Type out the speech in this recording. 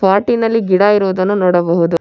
ಪಾಟ್ಟಿನಲ್ಲಿ ನಲ್ಲಿ ಗಿಡ ಇರೋದನ್ನು ನೋಡಬಹುದು.